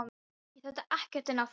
Ég þekki ekkert inn á þetta.